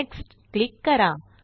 next click करा